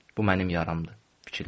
Bu mənim yaramdır, fikirləşdim.